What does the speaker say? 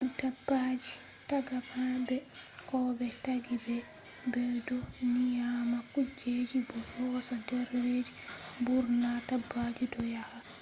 dabbaaji taagama be ko be taggi be be do nyama kujeji bo yoosa der redu .mburna dabbaji do yahaa